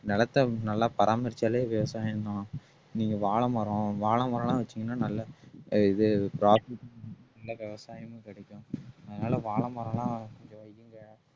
நிலத்தை நல்லா பராமரிச்சாலே விவசாயம்தான் நீங்க வாழைமரம் வாழைமரம் எல்லாம் வச்சீங்கன்னா நல்ல அஹ் இது நல்லா விவசாயமும் கிடைக்கும் அதனால வாழைமரம் எல்லாம் கொஞ்சம் வையுங்க